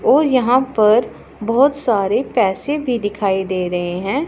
और यहां पर बहोत सारे पैसे भी दिखाई दे रहे हैं।